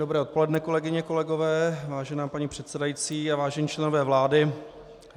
Dobré odpoledne, kolegyně, kolegové, vážená paní předsedající a vážení členové vlády.